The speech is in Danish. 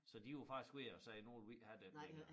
Så var de var faktisk ved at sige nu vil vi ikke have den mere